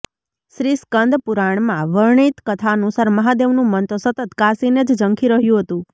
શ્રીસ્કંદ મહાપુરાણમાં વર્ણિત કથા અનુસાર મહાદેવનું મન તો સતત કાશીને જ ઝંખી રહ્યું હતું